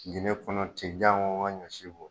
Gende kɔnɔ tɛ jango ka ɲɔ si bɔ.